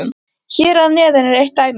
Hér að neðan er eitt dæmi